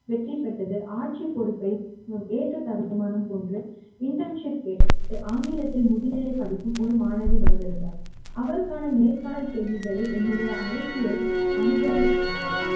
வெற்றி பெற்றது ஆட்சி பொறுப்பை ஏற்றதருண மான போன்று internship கேட்டு ஆங்கிலத்தில் முதுநிலை படிக்கும் ஒரு மாணவி வந்திருந்தார் அவருக்கான நேர்காணல் கேள்விகளை என்னுடைய அரசியல் அனுபவித்தார்கள்